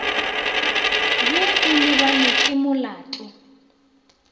be o lebanwe ke molato